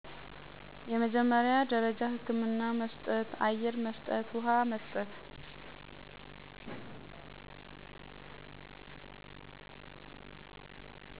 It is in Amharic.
የመጀመሪያ ደረጃ ህክምና በመስጠት , አየር መስጠት ውሃ መስጠት